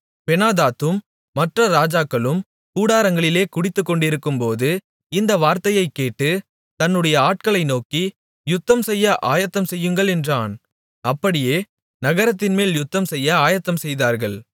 பெனாதாத்தும் மற்ற ராஜாக்களும் கூடாரங்களிலே குடித்துக்கொண்டிருக்கும்போது இந்த வார்த்தையைக் கேட்டு தன்னுடைய ஆட்களை நோக்கி யுத்தம் செய்ய ஆயத்தம்செய்யுங்கள் என்றான் அப்படியே நகரத்தின்மேல் யுத்தம்செய்ய ஆயத்தம்செய்தார்கள்